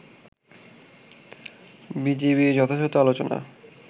বিজিবি'র যথাযথ আলোচনা